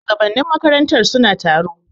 Shugabannin makarantar suna taro.